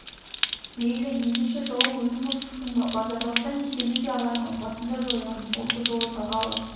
мейлің ендеше жауым өзің боп шықтың ба базаралыдан есемді де алармын басын да жоярмын осы жолы тағалы